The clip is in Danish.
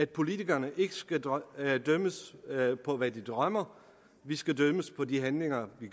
politikere ikke skal dømmes på hvad vi drømmer vi skal dømmes på de handlinger vi